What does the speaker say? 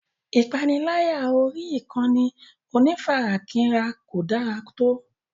Ìpániláyà orí ìkànnì onífarakínra kò dára tó.